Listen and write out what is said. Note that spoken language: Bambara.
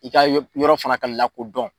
I ka yɔrɔ fana ka lakodɔn